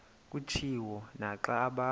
kutshiwo naxa abantu